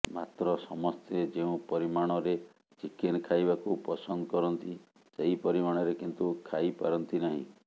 ମାତ୍ର ସମସ୍ତେ ଯେଉଁ ପରିମାଣରେ ଚିକେନ ଖାଇବାକୁ ପସନ୍ଦ କରନ୍ତି ସେହି ପରିମାଣରେ କିନ୍ତୁ ଖାଇପାରନ୍ତି ନାହିଁ